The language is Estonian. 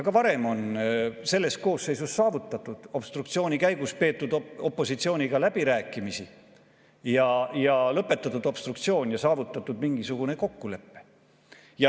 Ka varem on selles koosseisus seda saavutatud, obstruktsiooni käigus on peetud opositsiooniga läbirääkimisi, obstruktsioon on lõpetatud ja saavutatud mingisugune kokkulepe.